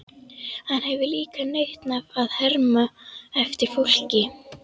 Hann hefur líka nautn af að herma eftir fólki.